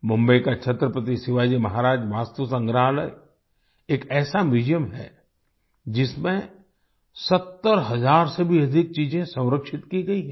मुंबई का छत्रपति शिवाजी महाराज वास्तु संग्रहालय एक ऐसा म्यूजियम है जिसमें 70 हजार से भी अधिक चीजेंसंरक्षित की गई हैं